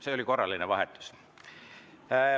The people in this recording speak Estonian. See oli korraline vahetus.